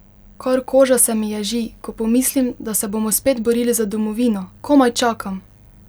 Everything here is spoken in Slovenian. Kar koža se mi ježi, ko pomislim, da se bomo spet borili za domovino, komaj čakam!